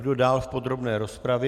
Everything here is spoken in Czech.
Kdo dál v podrobné rozpravě?